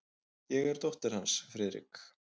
Ég er dóttir hans, Friðrik.